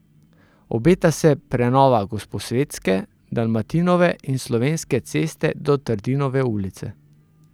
Obeta se prenova Gosposvetske, Dalmatinove in Slovenske ceste do Trdinove ulice.